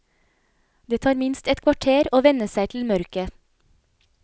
Det tar minst et kvarter å venne seg til mørket.